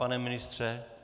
Pane ministře?